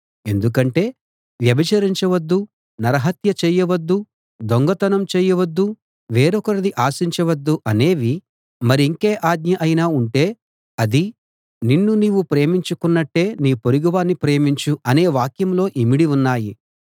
ఎందుకంటే వ్యభిచరించవద్దు నరహత్య చేయవద్దు దొంగతనం చేయవద్దు వేరొకరిది ఆశించవద్దు అనేవీ మరింకే ఆజ్ఞ అయినా ఉంటే అదీ నిన్ను నీవు ప్రేమించుకున్నట్టే నీ పొరుగువాణ్ణి ప్రేమించు అనే వాక్యంలో ఇమిడి ఉన్నాయి